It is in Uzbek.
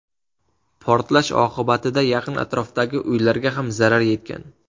Portlash oqibatida yaqin atrofdagi uylarga ham zarar yetgan.